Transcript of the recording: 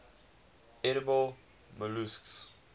edible molluscs